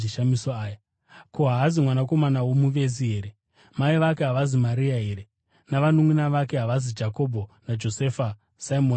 Ko, haasi mwanakomana womuvezi here? Mai vake havasi Maria here, navanunʼuna vake havasi Jakobho, Josefa, Simoni naJudhasi?